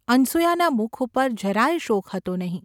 અનસૂયાના મુખ ઉપર જરા યે શોક હતો નહિ.